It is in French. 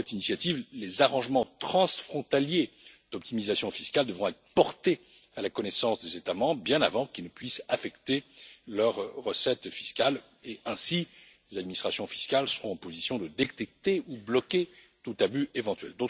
Avec cette initiative, les arrangements transfrontaliers d'optimisation fiscale devront être portés à la connaissance des États membres bien avant qu'ils ne puissent affecter leurs recettes fiscales, et ainsi les administrations fiscales seront en position de détecter ou de bloquer tout abus éventuel.